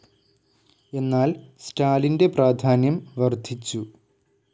എന്നാൽ സ്റ്റാലിൻ്റെ പ്രാധാന്യം വർധിച്ചു.